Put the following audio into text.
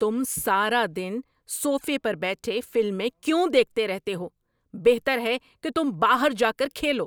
تم سارا دن صوفے پر بیٹھے فلمیں کیوں دیکھتے رہتے ہو؟ بہتر ہے کہ تم باہر جا کر کھیلو!